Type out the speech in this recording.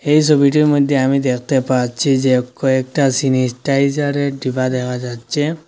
এই সবিটির মইধ্যে আমি দেখতে পাচ্ছি যে কয়েকটা সিনিটাইজারের ডিব্বা দেখা যাচ্ছে।